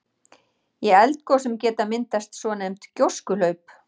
Í eldgosum geta myndast svonefnd gjóskuhlaup.